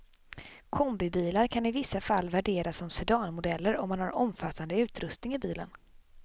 Kombibilar kan i vissa fall värderas som sedanmodeller om man har omfattande utrustning i bilen.